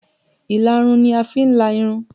Ìlarun ni a fi ń la irun